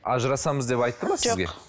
ажырасамыз деп айтты ма жоқ